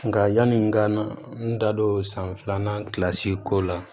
Nka yani n ka n da don san filanan kilasi ko la